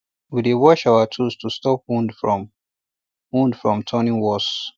we dey wash our tools to stop wound from wound from turning worse